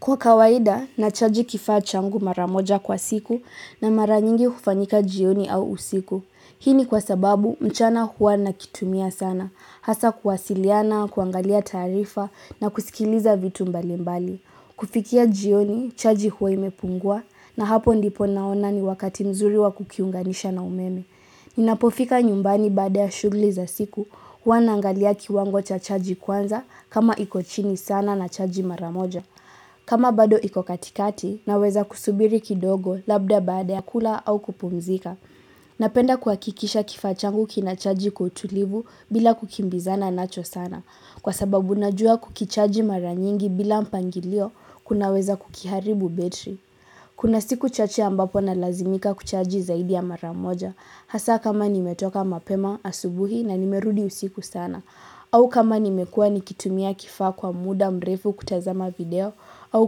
Kwa kawaida nachaji kifaa changu mara moja kwa siku na mara nyingi hufanyika jioni au usiku. Hii ni kwa sababu mchana huwa nakitumia sana, hasa kuwasiliana, kuangalia taarifa na kusikiliza vitu mbalimbali. Kufikia jioni, chaji huwa imepungua na hapo ndipo naona ni wakati mzuri wa kukiunganisha na umeme. Ninapofika nyumbani baada ya shughuli za siku huwa naangalia kiwango cha chaji kwanza kama iko chini sana nachaji mara moja. Kama bado iko katikati naweza kusubiri kidogo labda baada ya kula au kupumzika. Napenda kuhakikisha kifaa changu kinachaji kwa utulivu bila kukimbizana nacho sana. Kwa sababu najua kukichaji mara nyingi bila mpangilio kunaweza kukiharibu betri. Kuna siku chache ambapo nalazimika kuchaji zaidi ya mara moja. Hasa kama nimetoka mapema asubuhi na nimerudi usiku sana. Au kama nimekuwa nikitumia kifaa kwa muda mrefu kutazama video au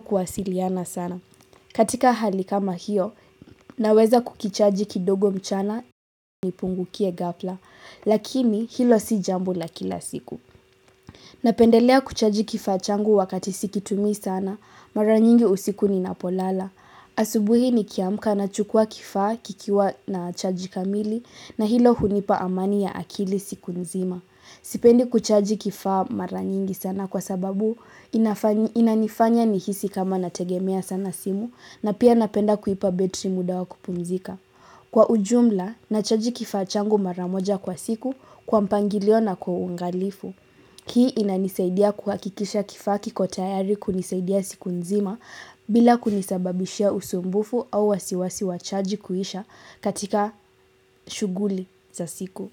kuwasiliana sana. Katika hali kama hiyo, naweza kukichaji kidogo mchana nipungukie ghala, lakini hilo si jambo la kila siku. Napendelea kuchaji kifaa changu wakati sikitumii sana, mara nyingi usiku ninapolala. Asubuhi nikiamka nachukua kifaa kikiwa na chaji kamili na hilo hunipa amani ya akili siku nzima. Sipendi kuchaji kifaa mara nyingi sana kwa sababu inanifanya nihisi kama nategemea sana simu na pia napenda kuipa betri muda wa kupunzika. Kwa ujumla, nachaji kifaa changu mara moja kwa siku kwa mpangilio na kwa uangalifu. Hii inanisaidia kuhakikisha kifaa kiko tayari kunisaidia siku nzima bila kunisababishia usumbufu au wasiwasi wa chaji kuisha katika shughuli za siku.